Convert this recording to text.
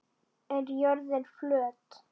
Er jörðin flöt?